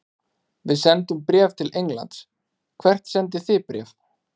Við sendum bréf til Englands. Hvert sendið þið bréf?